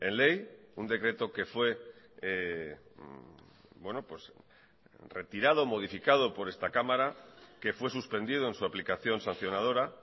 ley un decreto que fue retirado modificado por esta cámara que fue suspendido en su aplicación sancionadora